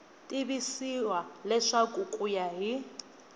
tivisiwa leswaku ku ya hi